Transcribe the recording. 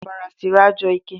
ọbara siri ajọ ike